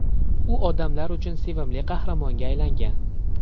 U odamlar uchun sevimli qahramonga aylangan.